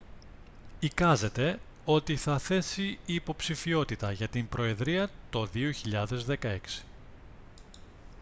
εικάζεται ότι θα θέσει υποψηφιότητα για την προεδρία το 2016